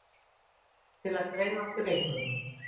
Til að greiða okkur inngöngu.